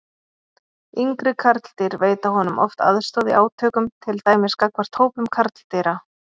Yngri karldýr veita honum oft aðstoð í átökum, til dæmis gagnvart hópum karldýra.